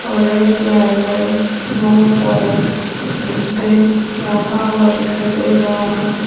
और रैक के अंदर बहुत सारे डिबे रखा हुआ दिखाई दे रहा है।